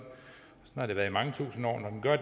har det været i mange tusind år